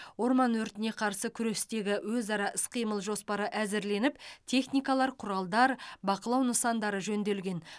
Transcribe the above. орман өртіне қарсы күрестегі өзара іс қимыл жоспары әзірленіп техникалар құралдар бақылау нысандары жөнделген